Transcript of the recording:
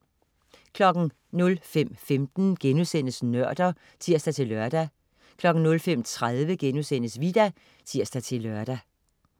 05.15 Nørder* (tirs-lør) 05.30 Vita* (tirs-lør)